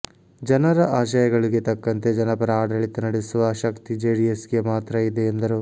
ಜನರ ಆಶಯಗಳಿಗೆ ತಕ್ಕಂತೆ ಜನಪರ ಆಡಳಿತ ನಡೆಸುವ ಶಕ್ತಿ ಜೆಡಿಎಸ್ಗೆ ಮಾತ್ರ ಇದೆ ಎಂದರು